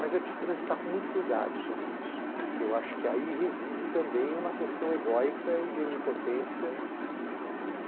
Mas é preciso transitar com muito cuidado sobre isso, porque eu acho que aí reside também uma questão egóica e de onipotência.